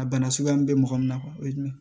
A bana suguya min bɛ mɔgɔ min na o ye jumɛn ye